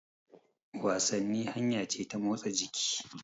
Wasanni hanya ce ta motsa jiki.